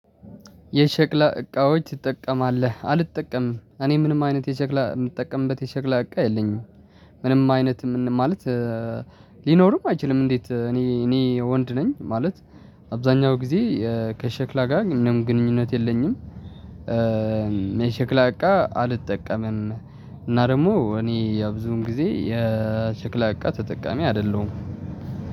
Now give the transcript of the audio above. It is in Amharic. የሸክላ እቃዎች ትጠቀማለህ አልጠቀምም እኔ ምንም አይነት የሸክላ እምጠቀምበት የሸክላ እቃ የለኝም። ምንም አይነት ምን ማለት ሊኖርም አይችልም? እንዴት እኔ እኔ ወንድ ነኝ። ማለት አብዛኛው ጊዜ ከሸክላ ጋር ምንም ግንኙነት የለኝም። የሸክላ እቃ አልጠቀምም እና ደግሞ እኔ ያ ብዙውን ጊዜ የሸክላ እቃ ተጠቃሚ አይደለሁም።